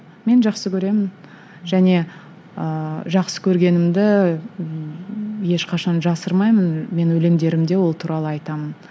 мен жақсы көремін және ыыы жақсы көргенімді ешқашан жасырмаймын мен өлеңдерімде ол туралы айтамын